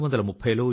Vande Mataram